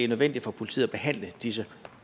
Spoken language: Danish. nødvendigt for politiet at behandle disse